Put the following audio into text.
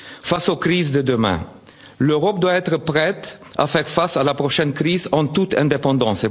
fois. Face aux crises de demain, l'Europe doit être prête à faire face à la prochaine crise en toute indépendance.